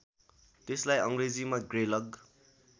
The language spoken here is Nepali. यसलाई अङ्ग्रेजीमा ग्रेलग